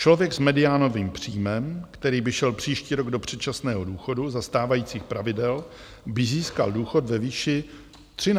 Člověk s mediánovým příjmem, který by šel příští rok do předčasného důchodu za stávajících pravidel, by získal důchod ve výši 13 908 korun.